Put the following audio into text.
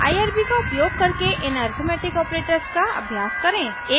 irb का उपयोग करके इन अरिथ्मेटिक ऑपरेटर्स का अभ्यास करें